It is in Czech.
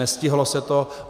Nestihlo se to.